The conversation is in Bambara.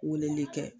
Weleli kɛ